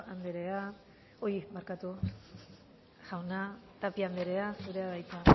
jauna tapia andrea zurea da hitza